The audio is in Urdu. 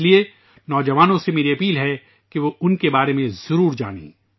اس لیے میں نوجوانوں سے اپیل کرتا ہوں کہ وہ ان کے بارے میں ضرور جانیں